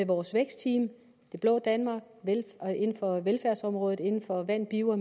vores vækstteam det blå danmark inden for velfærdsområdet inden for vand bio og